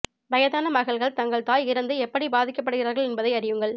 வயதான மகள்கள் தங்கள் தாய் இறந்து எப்படி பாதிக்கப்படுகிறார்கள் என்பதை அறியுங்கள்